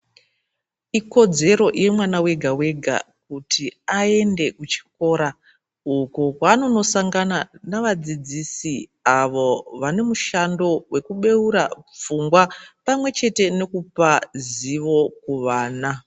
Ikodzero yemwana wega wega kuti aende kuchikora uko kwavanondosangana nevadzidzisi avo vane mushando wekubeura pfungwa pamwechete nekupa ruzivo kuvana.